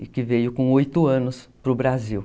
e que veio com oito anos para o Brasil.